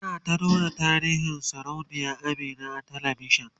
ana ta nuna tarihin sarauniya Amina a talavishan